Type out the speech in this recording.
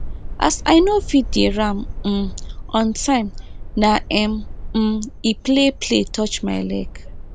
as i no feed di ram um on time na em um e play play touch my leg